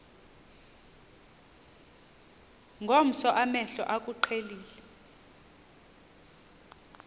ngomso amehlo akuqhelile